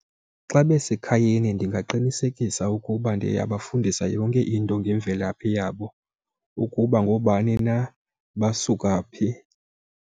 Xa basekhayeni ndingaqinisekisa ukuba ndiya bafundisa yonke into ngemvelaphi yabo, ukuba ngoobani na basuka phi.